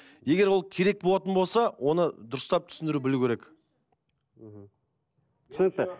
егер ол керек болатын болса оны дұрыстап түсіндіре білу керек мхм түсінікті